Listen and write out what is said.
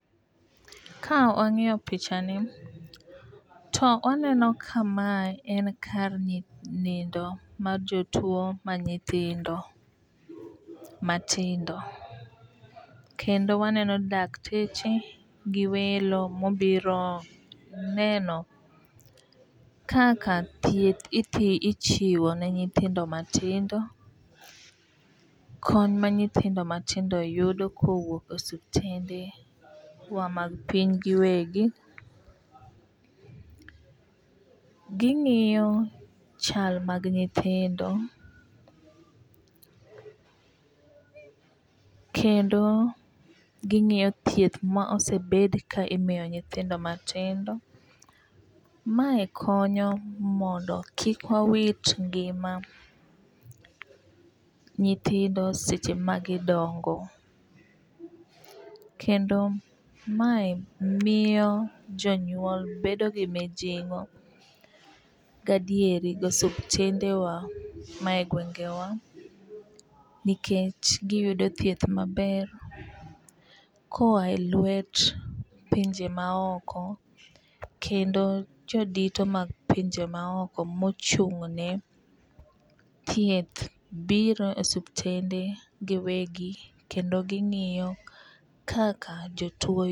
Ka wang'iyo pichani to waneno kamae en kar nindo mar jotuo ma nyithindo matindo. Kendo waneno dakteche gi welo mobiro neno kaka thieth ichiwo ne nyithindo matindo, kony ma nyithindo matindo yudo kowuok osiptende wa mag piny giwegi. Ging'iyo chal mag nyithindo. Kendo ging'iyo thieth ma osebed ka imiyo nyithindo matindo. Mae konyo mondo kik wawit ngima nyithindo seche ma gidongo. Kendo mae miyo jonyuol bedo gi mijingo gadier gi osuptende wa ma e gwenge wa nikech giyudo thieth maber koa e lwet pinje ma oko. Kendo jodito mag pinje ma oko mochung' ne thieth biro osiptende giwegi kendo ging'iyo kaka jotuo